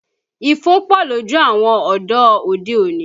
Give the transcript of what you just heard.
Ifo pọ lójú àwọn ọ̀dọ́ òde-òní